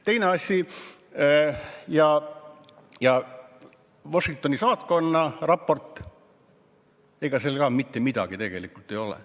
Teine asi, Washingtoni saatkonna raport – ega seal ka tegelikult mitte midagi ei ole.